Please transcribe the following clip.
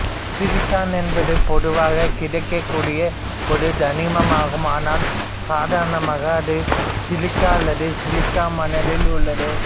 silicon என்பது பொதுவாகக் கிடைக்கக்கூடிய ஒரு தனிமமாகும் ஆனால் சாதரணமாக அது சிலிக்கா அல்லது சிலிக்கா மணலில் உள்ளது